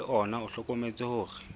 le ona o hlokometse hore